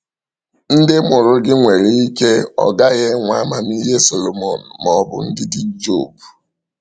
Ndị mụrụ gị nwere ike ọ gaghị enwe amamihe Solomon ma ọ bụ ndidi Job.